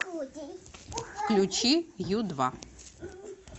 включи ю два